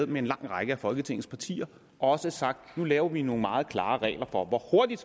med en lang række af folketingets partier også sagt at nu laver vi nogle meget klare regler for hvor hurtigt